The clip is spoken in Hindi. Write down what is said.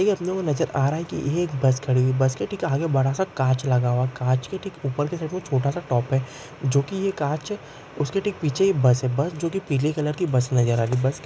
यह अपने को नजर आ रहा है | यह एक बस है| बस के आगे बड़ा सा कांच लगा हुआ है कांच के उपर के साइड मे टॉप है जो की यह कांच है उसके पीछे बस है बस पीले कलर की नजर आ रही है बस --